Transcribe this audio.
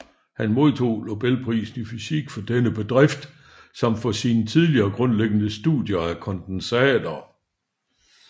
Han modtog nobelprisen i fysik for denne bedrift samt for sine tidlige grundlæggende studier af kondensater